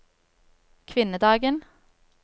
kvinnedagen